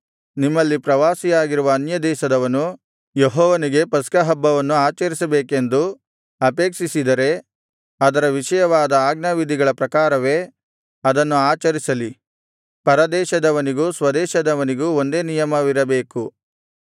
ನಿಮ್ಮಲ್ಲಿ ಪ್ರವಾಸಿಯಾಗಿರುವ ಅನ್ಯದೇಶದವನು ಯೆಹೋವನಿಗೆ ಪಸ್ಕಹಬ್ಬವನ್ನು ಆಚರಿಸಬೇಕೆಂದು ಅಪೇಕ್ಷಿಸಿದರೆ ಅದರ ವಿಷಯವಾದ ಆಜ್ಞಾವಿಧಿಗಳ ಪ್ರಕಾರವೇ ಅದನ್ನು ಆಚರಿಸಲಿ ಪರದೇಶದವನಿಗೂ ಸ್ವದೇಶದವನಿಗೂ ಒಂದೇ ನಿಯಮವಿರಬೇಕು